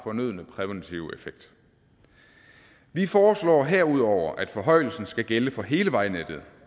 fornødne præventive effekt vi foreslår herudover at forhøjelsen skal gælde for hele vejnettet